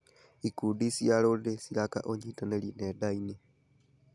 Ikundi cia rũrĩrĩ ciraka ũnyitanĩri nenda-inĩ.